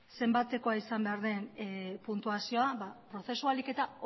zenbatekoa izan behar den puntuazioa prozesua ahalik eta